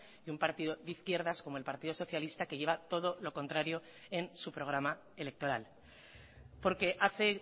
y un partido de izquierdas como el partido socialista que lleva todo lo contrario en su programa electoral porque hace